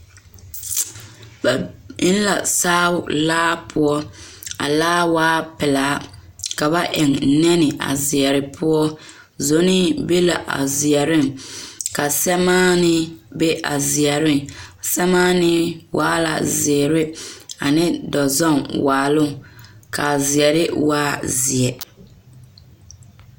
Ba biŋ la saao laa poɔ a laa waa pelaa ka ba eŋ nɛnɛ a seɛre poɔ sonee be la a seɛreŋ ka sɛmaanee be a seɛreŋ sɛmaanee waa la zeere ane dɔzɔŋ waaloŋ kaa seɛre waa zeɛ